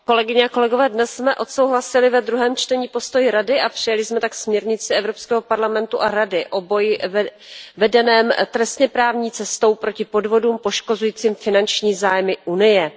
Paní předsedající, dnes jsme odsouhlasili ve druhém čtení postoj Rady, a přijali jsme tak směrnici Evropského parlamentu a Rady o boji vedeném trestněprávní cestou proti podvodům poškozujícím finanční zájmy Unie.